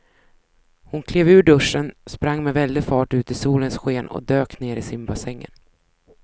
Hon klev ur duschen, sprang med väldig fart ut i solens sken och dök ner i simbassängen.